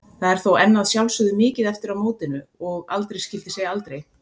Það er þó enn að sjálfsögðu mikið eftir að mótinu og aldrei skyldi segja aldrei.